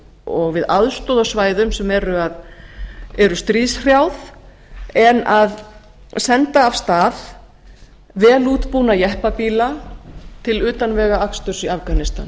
og við aðstoð á svæðum sem eru stríðshrjáðum en að senda af stað vel útbúna jeppabíla til utanvegaaksturs í afganistan